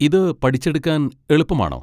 ഇത് പഠിച്ചെടുക്കാൻ എളുപ്പമാണോ?